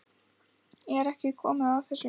Er ekki komið að þessu?